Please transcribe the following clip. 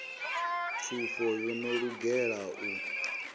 pfufho yo no lugela u